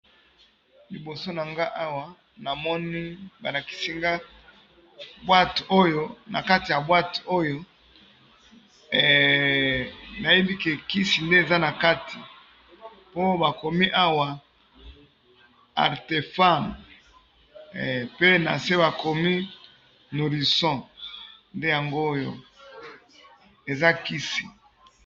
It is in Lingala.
Liiboso na nga awa na moni balakisi ngaboote oyo, na kati ya bwate oyo nayebike kisi nde eza na kati, po bakomi awa artefame, pe na se bakomi nourisson nde yango oyo eza kisi.